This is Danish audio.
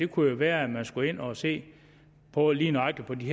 kunne jo være at man skulle ind og se på lige nøjagtig